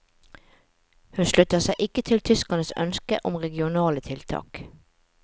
Hun slutter seg ikke til tyskernes ønske om regionale tiltak.